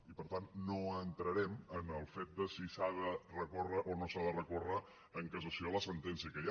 i per tant no entrarem en el fet si s’ha de recórrer o no s’ha de recórrer en cassació la sentència que hi ha